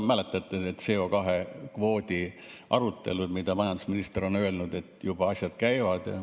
Mäletate neid CO2-kvoodi arutelusid, kus majandusminister on öelnud, et juba asjad käivad.